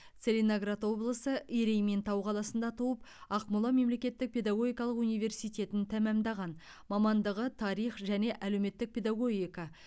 целиноград облысы ерейментау қаласында туып ақмола мемлекеттік педагогикалық университетін тәмамдаған мамандығы тарих және әлеуметтік педагогика